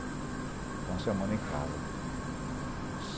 Fiquei uma semana em casa.